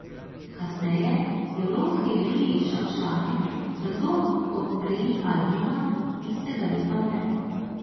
Kasneje je v lovski reviji izšel članek, da kdor odstreli albina, istega leta umre.